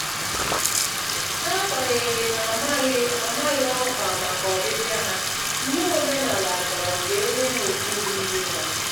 N'agbanyeghị na -amaghị -amaghị ọkwa màkà ọbịbịa ha, iwu omenala chọrọ ka enye ha ùgwù ruuru ha.